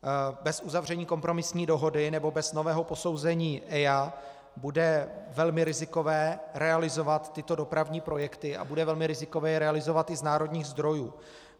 Bez uzavření kompromisní dohody nebo bez nového posouzení EIA bude velmi rizikové realizovat tyto dopravní projekty a bude velmi rizikové je realizovat i z národních zdrojů.